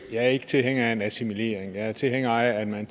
jeg er ikke tilhænger af en assimilering jeg er tilhænger af at man